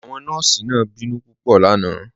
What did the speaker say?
Awọn nọọ̀sí náà bínú pupọ̀ lánà